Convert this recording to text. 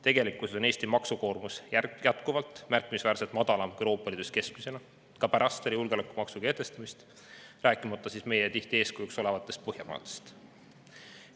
Tegelikkuses on Eesti maksukoormus jätkuvalt märkimisväärselt madalam kui Euroopa Liidus keskmisena, ka pärast julgeolekumaksu kehtestamist, rääkimata meile tihti eeskujuks olevatest Põhjamaadest.